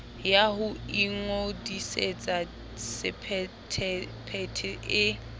ya ho ingodisetsa sephethephethe e